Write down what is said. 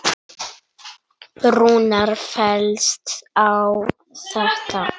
Rúnar fellst á þetta.